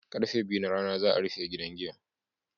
Karfe biyu na rana za'a rufe gidan giyan.